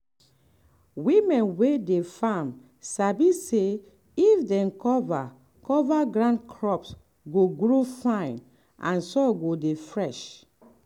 women wey dey farm sabi say if dem cover cover ground crops go grow fine and soil go dey fresh.